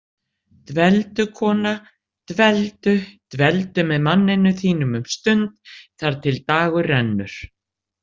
Dveldu, kona, dveldu- dveldu með manninum þínum um stund þar til dagur rennur.